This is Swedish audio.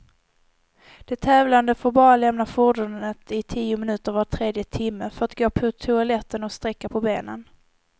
De tävlande får bara lämna fordonet i tio minuter var tredje timme, för att gå på toaletten och sträcka på benen.